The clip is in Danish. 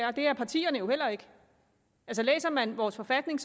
og det er partierne jo heller ikke læser man vores forfatning